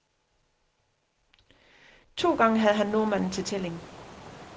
To gange havde han nordmanden til tælling.